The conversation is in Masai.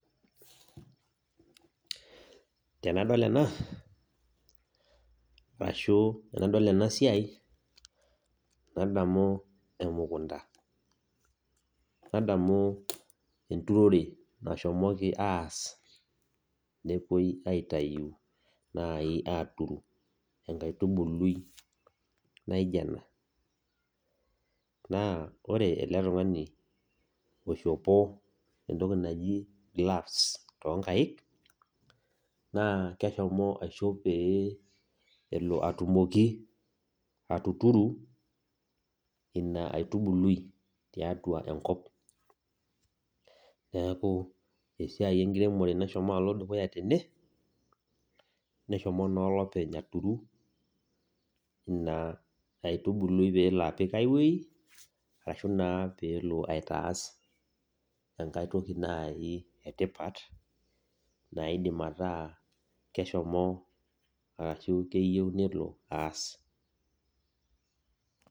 Tenadol ena arashu tenadol ena siai adamu emukunda, nadamu enturore nashomoki aas nepuoi aaturru enkaitubuluai nijo ena naa ore ele tung'ani oishopo entoki naji gloves tooonkaik naa keishopo peyie elo atumoki atuturu ina aitubuluai tiatua enkop, niku esiai enkiremore nashomo alo dukuya tene neshomo naa olopeny aturu ina aitubuliai pelo apik aiwueji araki peelo aitaas naji enkae toki etipat naidim ataa keshomo arashu keyieu nelo aas.